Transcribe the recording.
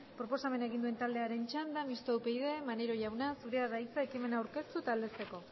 proposamen egin duen taldearen txanda mistoa upyd maneiro jauna zurea da hitza ekimen aurkeztu eta aldezteko